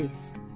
İblis.